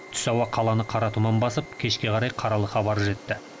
түс ауа қаланы қара тұман басып кешке қарай қаралы хабар жетті